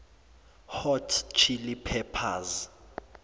hot chili peppers